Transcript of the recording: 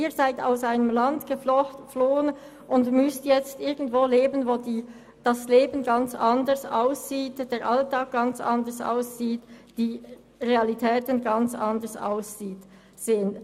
Sie sind aus einem Land geflohen und müssen nun irgendwo leben, wo das Leben, der Alltag und die Realitäten ganz anders aussehen.